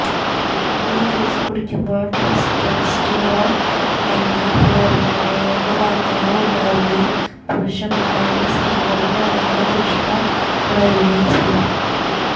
ഈ ജ്യൂസ് കുടിക്കുമ്പോള് ടെസ്റ്റൊസ്റ്റിറോണ് എന്ന ഹോര്മോണില് വര്ധനവ് ഉണ്ടാകുകയും പുരുഷന്മാരിലും സ്ത്രീകളിലും ലൈംഗിക തൃഷ്ണ ഉണരുകയും ചെയ്യും